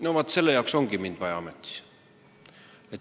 No vaat selle jaoks ongi mind vaja ametisse.